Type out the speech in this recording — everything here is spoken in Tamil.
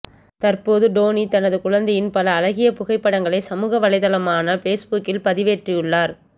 தற்போது டோனி தனது குழந்தையின் பல அழகிய புகைப்படங்களை சமூகவலைதளமான பேஸ்புக்கில் பதிவேற்றியுள்ளார்